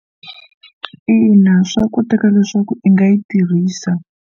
Ina, swa koteka leswaku i nga yi tirhisa.